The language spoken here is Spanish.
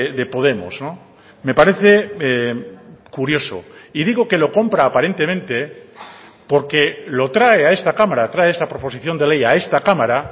de podemos me parece curioso y digo que lo compra aparentemente porque lo trae a esta cámara trae esa proposición de ley a esta cámara